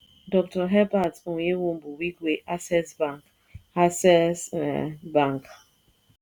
Dr. herbert onyewumbu wigwe access bank access um bank